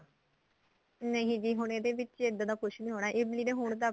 ਨਹੀਂ ਜੀ ਹੁਣ ਇਹਦੇ ਵਿਚ ਇੱਦਾਂ ਦਾ ਕੁੱਝ ਨਹੀਂ ਹੋਣਾ ਇਮਲੀ ਦੇ ਹੋਣ ਤੱਕ